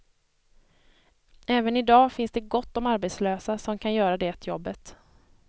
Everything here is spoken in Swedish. Även idag finns det gott om arbetslösa som kan göra det jobbet.